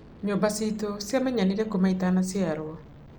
Nyũmba ciitũ ciamenyanire kuma itanaciarũo.